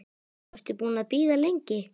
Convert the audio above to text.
Varstu búin að bíða lengi?